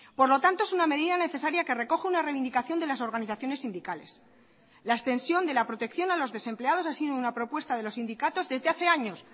por lo tanto es una medida necesaria que recoge una reivindicación de las organizaciones sindicales la extensión de la protección a los desempleados ha sido una propuesta de los sindicatos desde hace años